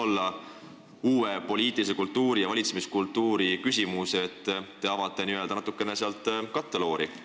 Kas uue poliitilise kultuuri ja valitsemiskultuuri väljendus võiks olla see, et te avate natukene seda katteloori?